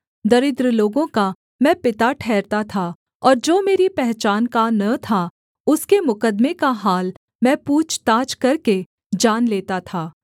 दरिद्र लोगों का मैं पिता ठहरता था और जो मेरी पहचान का न था उसके मुकद्दमे का हाल मैं पूछताछ करके जान लेता था